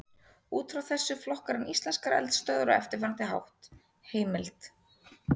Út frá þessu flokkar hann íslenskar eldstöðvar á eftirfarandi hátt: Heimild: